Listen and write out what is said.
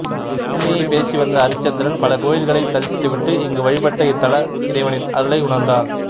உண்மையே பேசிவந்த அரிச்சந்திரன் பல கோயில்களைத் தரிசித்துவிட்டு இங்கு வழிபட்டு இத்தல இறைவனின் அருளை உணர்ந்தார்